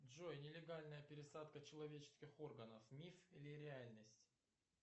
джой нелегальная пересадка человеческих органов миф или реальность